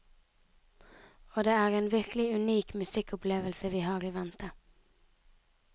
Og det er en virkelig unik musikkopplevelse vi har i vente.